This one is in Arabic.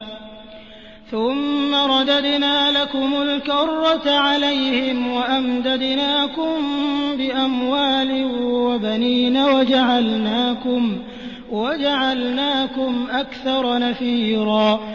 ثُمَّ رَدَدْنَا لَكُمُ الْكَرَّةَ عَلَيْهِمْ وَأَمْدَدْنَاكُم بِأَمْوَالٍ وَبَنِينَ وَجَعَلْنَاكُمْ أَكْثَرَ نَفِيرًا